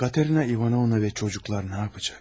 Katerina İvanovna və uşaqlar nə edəcək?